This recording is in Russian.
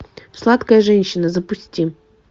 сладкая женщина запусти